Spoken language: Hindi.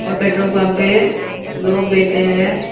और पेट्रोल पंप पे लोग बैठे हैं।